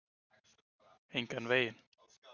Engan veginn.